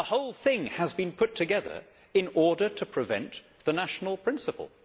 The whole thing has been put together in order to prevent the national principle.